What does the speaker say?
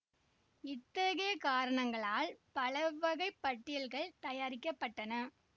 இத்தகைய காரணங்களால் பலவகை பட்டியல்கள் தயாரிக்க பட்டன